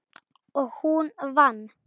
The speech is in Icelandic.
Og hún vann.